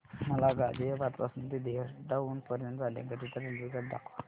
मला गाझियाबाद पासून ते देहराडून पर्यंत जाण्या करीता रेल्वेगाडी दाखवा